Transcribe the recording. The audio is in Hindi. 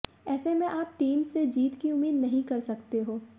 ऐसे में आप टीम से जीत की उम्मीद नहीं कर सकते हो